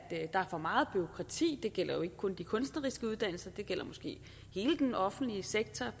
der er for meget bureaukrati det gælder ikke kun de kunstneriske uddannelser det gælder måske hele den offentlige sektor